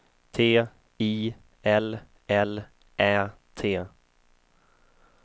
T I L L Ä T